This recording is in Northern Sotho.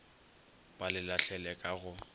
ba le lahlele ka go